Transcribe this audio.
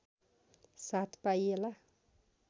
साथ पाइएला